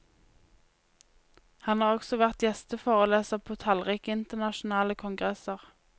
Han har også vært gjesteforeleser på tallrike internasjonale kongresser.